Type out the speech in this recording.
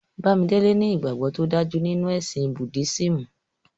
Bàmídélè ní ìgbagbọ̀ tó dájú nínu ẹ̀sìn Búddisímù.